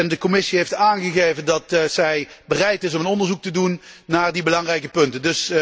De Commissie heeft aangegeven dat zij bereid is om een onderzoek te doen naar die belangrijke punten.